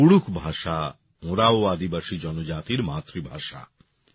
কুড়ূখ ভাষা ওরাঁও আদিবাসী জনজাতির মাতৃভাষা